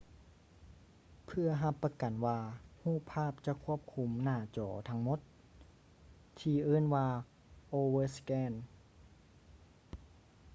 ເພື່ອຮັບປະກັນວ່າຮູບພາບຈະຄວບຄຸມໜ້າຈໍທັງໝົດ ທີ່ເອີ້ນວ່າ overscan